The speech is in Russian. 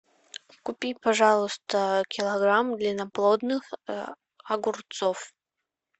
купи пожалуйста килограмм длинноплодных огурцов